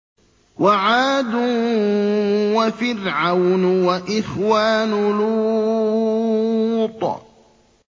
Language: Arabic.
وَعَادٌ وَفِرْعَوْنُ وَإِخْوَانُ لُوطٍ